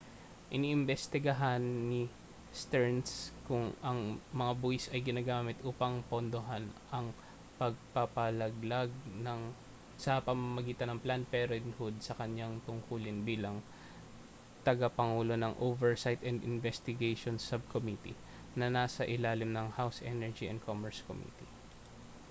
iniimbistigahan ni stearns kung ang mga buwis ay ginagamit upang pondohan ang pagpapalaglag sa pamamagitan ng planned parenthood sa kaniyang tungkulin bilang tagapangulo ng oversight and investigations subcommittee na nasa ilalim ng house energy and commerce committee